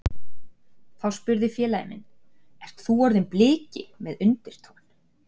Þá spurði félagi minn Ert þú orðinn Bliki? með undrunartón.